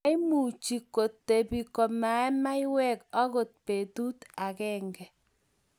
Maimuchi kitebi komaee maywek agot betut agenge